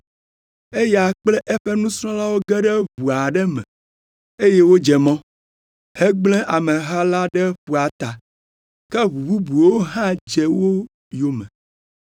Eya kple eƒe nusrɔ̃lawo ge ɖe ʋu aɖe me, eye wodze mɔ, hegble ameha la ɖe ƒua ta, ke ʋu bubuwo hã dze wo yome.